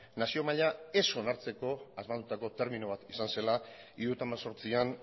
nazio maila ez onartzeko asmatutako termino bat izan zela mila bederatziehun eta hirurogeita hemezortzian